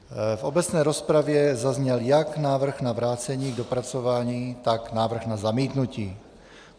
V obecné rozpravě zazněl jak návrh na vrácení k dopracování, tak návrh na zamítnutí.